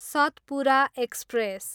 Satpura express